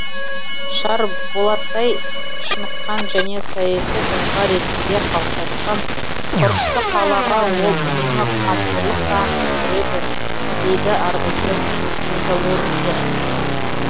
шарболаттай шыныққан және саяси тұлға ретінде қалыптасқан құрышты қалаға ол үнемі қамқорлық танытып жүреді дейді ардагер металлургтер